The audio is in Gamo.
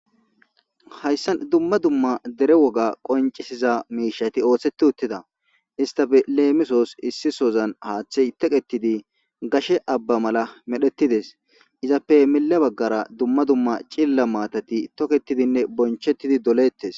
Hayssan dumma dumma dere woga qoncisiza miishati ooththeti uttida istafe leemisoos issi sozan haaththey toqettidi gashe abba mala medhettides izappe mile baggara dumma dumma cilla maatati toketidinne bonchettidi dolettes.